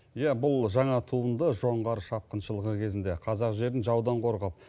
иә бұл жаңа туынды жоңғар шапқыншылығы кезінде қазақ жерін жаудан қорғап